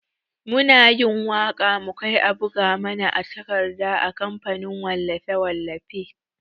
Muna yin waka mukai a buga mana a takarda a kamfanin wallafe-wallafe.